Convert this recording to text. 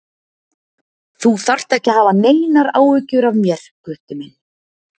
Þú þarft ekki að hafa neinar áhyggjur af mér, Gutti minn.